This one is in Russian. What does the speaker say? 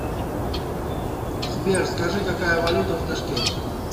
сбер скажи какая валюта в ташкенте